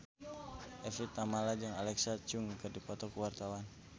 Evie Tamala jeung Alexa Chung keur dipoto ku wartawan